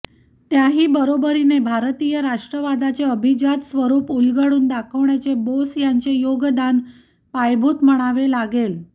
त्याही बरोबरीने भारतीय राष्ट्रवादाचे अभिजात स्वरूप उलगडून दाखवण्याचे बोस यांचे योगदान पायाभूत म्हणावे लागेल